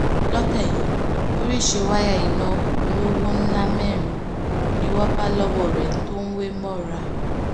lọ́tẹ̀ yìí oríṣìí wáyà iná olówó ńlá mẹ́rin ni wọ́n bá lọ́wọ́ rẹ̀ tó wé wọn mọ́ra